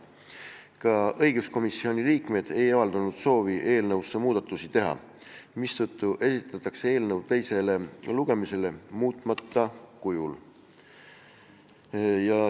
Ka õiguskomisjoni liikmed ei avaldanud soovi eelnõus muudatusi teha, mistõttu esitatakse eelnõu teisele lugemisele muutmata kujul.